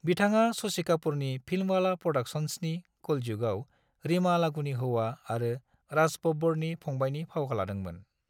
बिथाङा शशि कापूरनि फिल्मवाला प्र'डाक्शंसनि कलयुगआव रीमा लागूनि हौवा आरो राज बाब्बरनि फंबायनि फाव लादोंमोन।